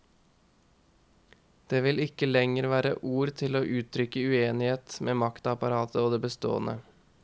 Det vil ikke lenger være ord til å uttrykke uenighet med maktapparatet og det bestående.